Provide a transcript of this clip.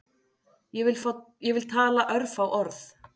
Ég vil tala örfá orð